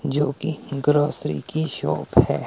जो की ग्रोसरी की शॉप है।